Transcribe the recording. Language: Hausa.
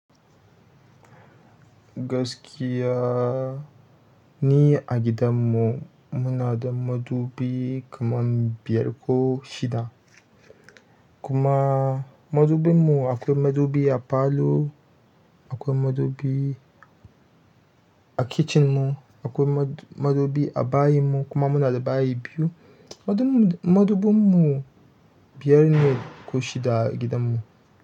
Gaskiya ni a gidanmu muna da madubi kaman biyar ko shida. Kuma madubinmu akwai madubi a falo, akwai madubi a kitchen mu, akwai madubi a bayinmu kuma muna da bayi biyu. Madubinmu biyar ne ko shida a gidanmu.